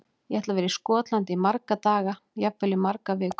Ég ætla að vera í Skotlandi í marga daga, jafnvel í margar vikur.